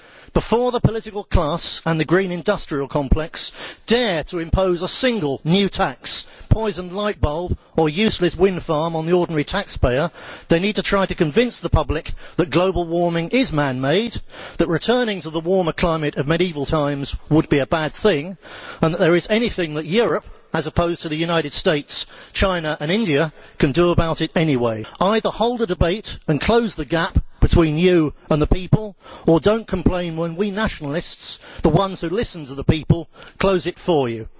Before the political class and the green industrial complex dare to impose a single new tax, poisoned light bulb or useless wind farm on the ordinary taxpayer, they need to try to convince the public that global warming is man made, that returning to the warmer climate of medieval times would be a bad thing and that there is something that Europe as opposed to the United States, China and India can actually do about it. Either hold a debate and close the gap between you and the people, or do not complain when we nationalists the ones who listen to the people close it for you.